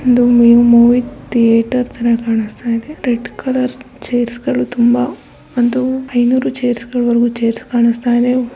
ಒಂದ್ movie theatre ತರ ಕಾಣಿಸ್ತಾಯಿದೆ. ರೆಡ್ ಕಲರ್ ಚೇರ್ಸ್ ಗಳು ತುಂಬಾ ಅಂದ್ರೆ ಐನೂರು ಚೇರ್ಸ್ ಕಾಣಿಸ್ತಾಯಿದೆ.